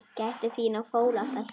Gættu þín á fóla þessum.